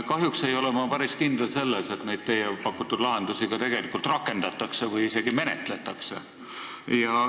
Kahjuks ei ole ma päris kindel, et neid teie pakutud lahendusi ka tegelikult rakendatakse või isegi menetletakse.